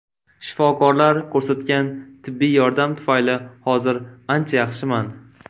Shifokorlar ko‘rsatgan tibbiy yordam tufayli hozir ancha yaxshiman”.